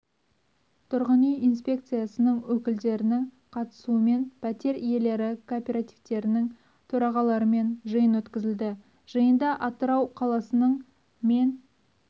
тұрғын үй инспекциясының өкілдерінің қатысуымен пәтер иелері кооперативтерінің төрағаларымен жиын өткізілді жиында атырау қаласының мен